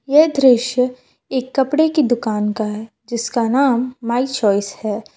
यह दृश्य एक कपड़े की दुकान का है जिसका नाम माय चॉइस है।